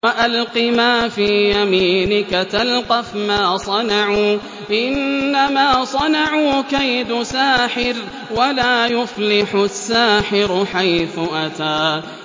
وَأَلْقِ مَا فِي يَمِينِكَ تَلْقَفْ مَا صَنَعُوا ۖ إِنَّمَا صَنَعُوا كَيْدُ سَاحِرٍ ۖ وَلَا يُفْلِحُ السَّاحِرُ حَيْثُ أَتَىٰ